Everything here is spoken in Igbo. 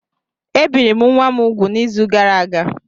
Ebiri m nwa m úgwù n'izu gara aga